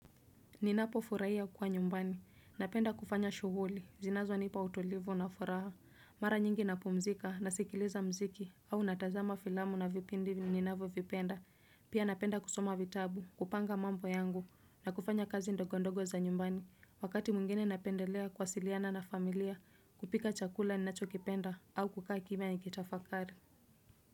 Ninapofurahia kuwa nyumbani, napenda kufanya shughuli zinazonipa utulivu na furaha. Mara nyingi napumzika, nasikiliza muziki, au natazama filamu na vipindi ninavyovipenda, Pia napenda kusoma vitabu, kupanga mambo yangu, na kufanya kazi ndogondogo za nyumbani, wakati mwingine napendelea kuwasiliana na familia, kupika chakula ninachokipenda, au kukaa kimya nikitafakari.